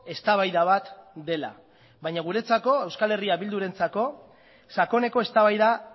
eztabaida bat dela baina guretzako euskal herria bildurentzako sakoneko eztabaida